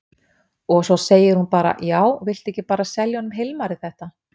Og svo segir hún bara: Já, viltu ekki bara selja honum Hilmari þetta?